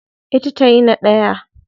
Ita tayi na daya.